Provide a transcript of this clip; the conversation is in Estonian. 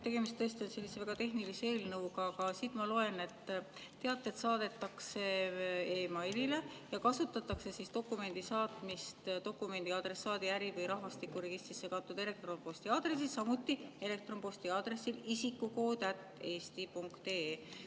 Tegemist on väga tehnilise eelnõuga, aga siit ma loen, et teated saadetakse e-mailile, kasutatakse dokumendi saatmist dokumendi adressaadi äri- või rahvastikuregistrisse kantud elektronposti aadressile, samuti elektronposti aadressile isikukood@eesti.ee.